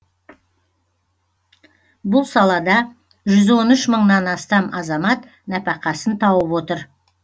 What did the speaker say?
бұл салада жүз он үш мыңнан астам азамат нәпәқасын тауып отыр